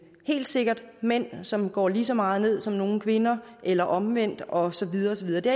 helt sikkert mænd som går lige så meget ned som nogle kvinder eller omvendt og så videre og så videre det